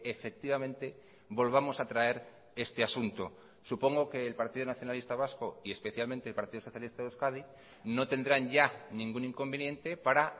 efectivamente volvamos a traer este asunto supongo que el partido nacionalista vasco y especialmente el partido socialista de euskadi no tendrán ya ningún inconveniente para